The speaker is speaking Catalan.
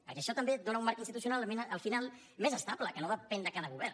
perquè això també et dóna un marc institucional al final més estable que no depèn de cada govern